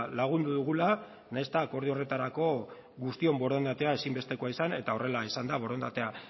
lagundu dugula nahiz eta akordio horretarako guztion borondatea ezinbestekoa izan eta horrela izan da borondatea